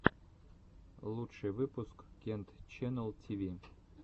лучший выпуск кент ченнал тиви